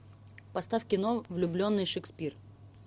поставь кино влюбленный шекспир